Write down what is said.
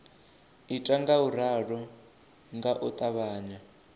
ita ngauralo nga u ṱavhanya